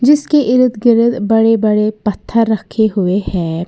इसके इर्द गिर्द बड़े बड़े पत्थर रखे हुए हैं।